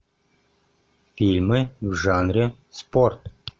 фильмы в жанре спорт